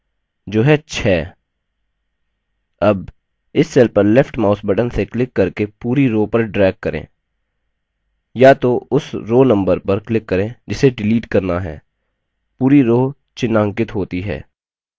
अब इस cell पर left mouse button से click करके पूरी row पर drag करें या तो उस row number पर click करें जिसे डिलीट करना है पूरी row चिन्हांकित होती है